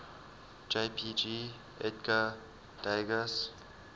jpg edgar degas